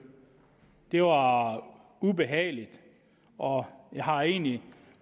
det var ubehageligt og jeg har egentlig